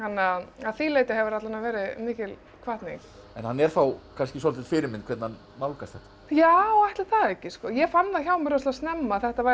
að því leyti hefur það alla vega verið mikil hvatning en er þá kannski svolítil fyrirmynd hvernig hann nálgast þetta já ætli það ekki ég fann það hjá mér rosalega snemma að þetta væri